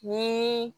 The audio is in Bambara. Ni